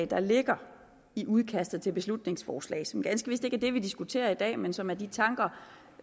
der ligger i udkastet til beslutningsforslaget som ganske vist ikke er det vi diskuterer i dag men som er de tanker